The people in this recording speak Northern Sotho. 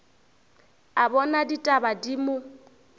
a bona ditaba di mo